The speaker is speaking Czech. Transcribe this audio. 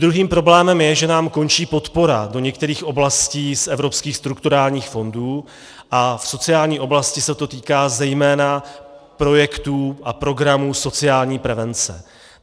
Druhým problémem je, že nám končí podpora do některých oblastí z evropských strukturálních fondů a v sociální oblasti se to týká zejména projektů a programů sociální prevence.